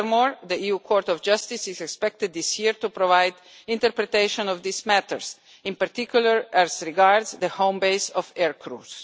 Furthermore, the EU Court of Justice is expected this year to provide interpretation of these matters, in particular as regards the home base of aircrews.